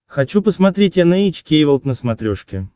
хочу посмотреть эн эйч кей волд на смотрешке